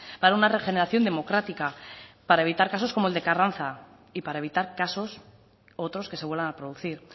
para una regeneración democrática para evitar casos como el de carranza y para evitar casos otros que se vuelvan a producir